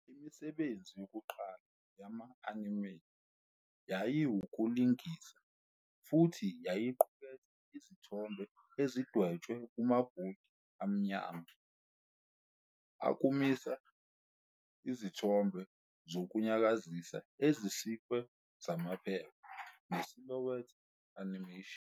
Imisebenzi yokuqala yama-anime yayiwukulinga, futhi yayiqukethe izithombe ezidwetshwe kumabhodi amnyama, ukumisa izithombe zokunyakazisa ezisikiwe zamaphepha, ne- silhouette animation.